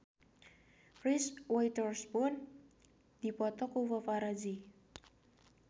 Reese Witherspoon dipoto ku paparazi